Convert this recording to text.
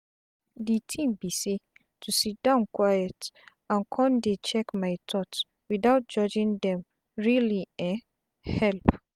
de tin be say to siddon quiet and con dey check my thoughts without judging dem really um help.